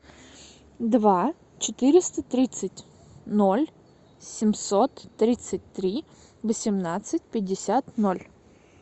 два четыреста тридцать ноль семьсот тридцать три восемнадцать пятьдесят ноль